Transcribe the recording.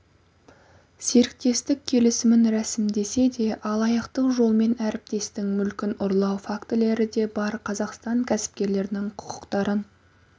серіктестік келісімін рәсімдесе де алаяқтық жолмен әріптестің мүлкін ұрлау фактілері де бар қазақстан кәсіпкерлерінің құқықтарын